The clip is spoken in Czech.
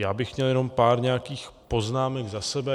Já bych měl jenom pár nějakých poznámek za sebe.